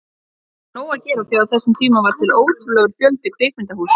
Og hann hafði nóg að gera því á þessum tíma var til ótrúlegur fjöldi kvikmyndahúsa.